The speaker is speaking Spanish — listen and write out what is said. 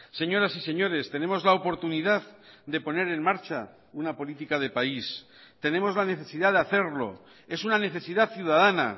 señoras y señores tenemos la oportunidad de poner en marcha una política de país tenemos la necesidad de hacerlo es una necesidad ciudadana